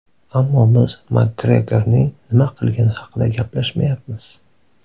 Ammo biz Makgregorning nima qilgani haqida gaplashmayapmiz.